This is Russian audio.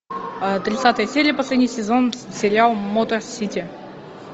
тридцатая серия последний сезон сериал мото сити